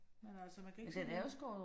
Men altså man kan ikke finde